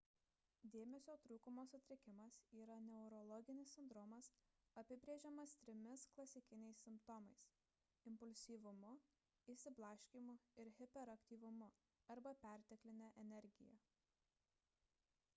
dėmesio trūkumo sutrikimas yra neurologinis sindromas apibrėžiamas trimis klasikiniais simptomais impulsyvumu išsiblaškymu ir hiperaktyvumu arba pertekline energija